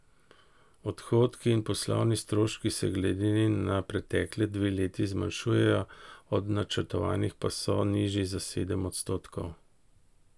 Odhodki in poslovni stroški se glede na pretekli dve leti zmanjšujejo, od načrtovanih pa so nižji za sedem odstotkov.